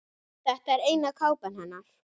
Þetta er eina kápan hennar.